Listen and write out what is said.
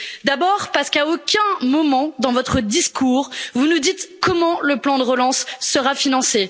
D'abord parce que, à aucun moment dans votre discours, vous ne nous dites comment le plan de relance sera financé.